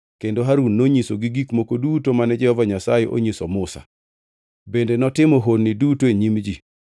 kendo Harun nonyisogi gik moko duto mane Jehova Nyasaye onyiso Musa. Bende notimo honni duto e nyim ji,